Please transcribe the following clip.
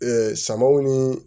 samaw ni